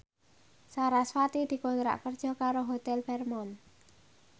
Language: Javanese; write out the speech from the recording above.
sarasvati dikontrak kerja karo Hotel Fairmont